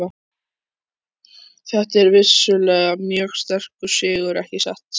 Þetta er vissulega mjög sterkur sigur, ekki satt?